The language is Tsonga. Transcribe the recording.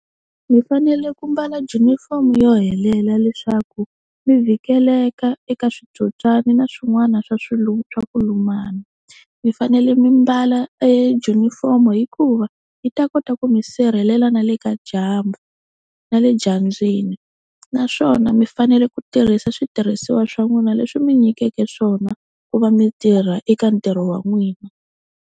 Mi fanele ku mbala junifomo yo helela leswaku mi vhikeleka eka switsotswani na swin'wana swa swa ku lumana. Mi fanele mi mbala ejunifomo hikuva yi ta kota ku mi sirhelela na le ka dyambu na le dyambyini, naswona mi fanele ku tirhisa switirhisiwa swa n'wina leswi mi nyikeke swona ku va mi tirha eka ntirho wa n'wina.